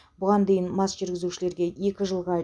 бұған дейін мас жүргізушіге екі жылға